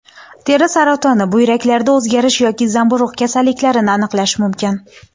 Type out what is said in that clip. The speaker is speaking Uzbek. Teri saratoni, buyraklarda o‘zgarish yoki zamburug‘ kasalliklarini aniqlash mumkin.